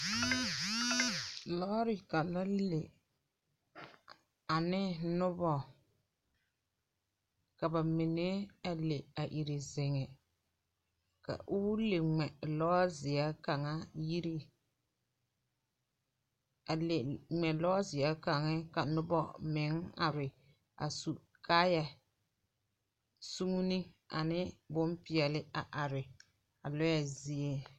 Lͻͻre kaŋa le ane noba ka ba mine a le a leԑ iri zeŋe. Ka po le ŋmԑ lͻͻzeԑ kaŋa yiri, a le ŋmԑ lͻͻzeԑ kaŋa ka noba are kaaya sugene ane bompeԑle a are a lͻԑ zie.